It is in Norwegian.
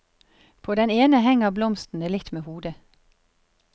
På den ene henger blomstene litt med hodet.